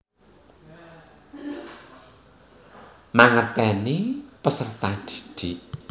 Mangerteni peserta didik